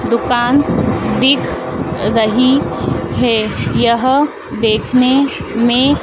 दुकान दिख रही हैं। यह देखने में--